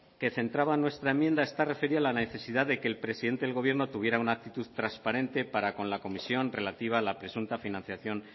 que centraba nuestra enmienda está referida a la necesidad de que el presidente del gobierno tuviera una actitud transparente para con la comisión relativa a la presunta financiación